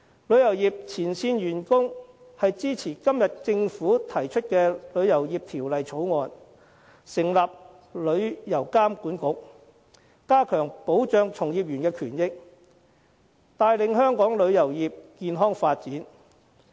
旅遊業前線員工支持今天政府提出的《旅遊業條例草案》，成立旅遊業監管局，加強保障從業員的權益，帶領香港旅遊業健康發展。